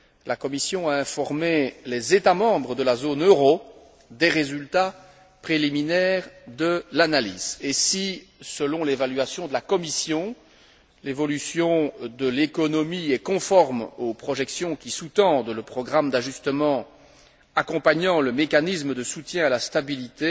La Commission a informé les États membres de la zone euro des résultats préliminaires de l'analyse et si, selon l'évaluation de la Commission, l'évolution de l'économie est conforme aux projections qui sous tendent le programme d'ajustement accompagnant le mécanisme de soutien à la stabilité,